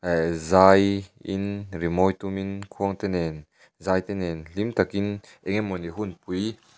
ehh zai in rimawi tumin khuang te nen zaite nen hlim takin enge mawni hunpui --